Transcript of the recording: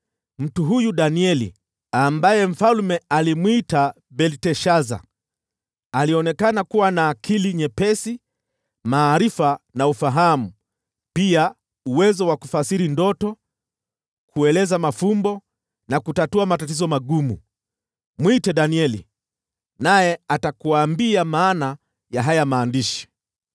Mtu huyu Danieli, ambaye mfalme alimwita Belteshaza, alionekana kuwa na akili nyepesi, maarifa na ufahamu, pia uwezo wa kufasiri ndoto, kueleza mafumbo na kutatua matatizo magumu. Mwite Danieli, naye atakuambia maana ya haya maandishi.”